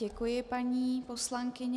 Děkuji, paní poslankyně.